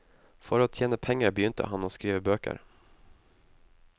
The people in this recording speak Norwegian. For å tjene penger begynte han å skrive bøker.